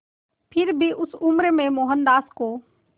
फिर भी उस उम्र में मोहनदास को